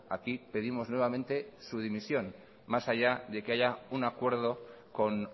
aquí pedimos nuevamente su dimisión más allá de que haya un acuerdo con